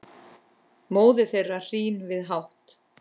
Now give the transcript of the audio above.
móðir þeirra hrín við hátt